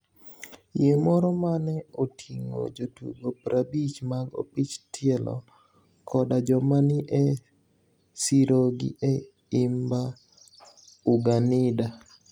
Yie moro ma ni e otinig'o jotugo 50 mag opich tielo koda joma ni e sirogi e imba Uganida.